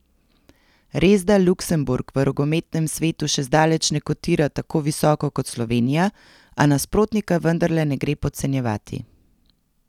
Resda Luksemburg v rokometnem svetu še zdaleč ne kotira tako visoko kot Slovenija, a nasprotnika vendarle ne gre podcenjevati.